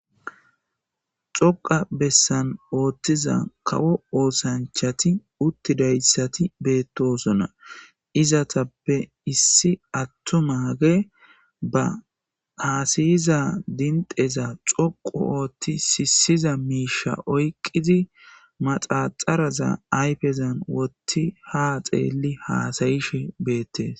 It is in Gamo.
Xoqa bessan ooththiza kawo oosanchati uttidayssati beettosona izatappe issi attu maage ba haasayiza dindeza xoqu oothti siisiza miisha oyqqidi maxaxaraza ayfezan wotti ha xeelli haasayishe beettees